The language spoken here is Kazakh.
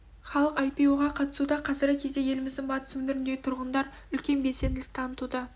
халық ай-пи-о-ға қатысуда қазіргі кезде еліміздің батыс өңіріндегі тұрғындар үлкен белсенділік танытуда